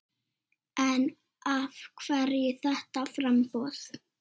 En af hverju þetta framboð?